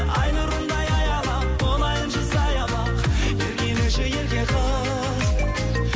ай нұрындай аялап болайыншы саябақ еркелеші ерке қыз